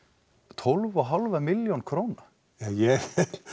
tólf og hálfa milljón króna ég